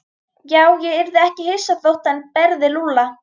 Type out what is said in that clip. Já, ég yrði ekki hissa þótt hann berði Lúlla.